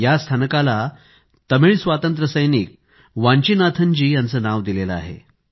या स्थानकाला तमिळ स्वातंत्र्यसैनिक वान्चीनाथन जी यांचं नाव दिलेलं आहे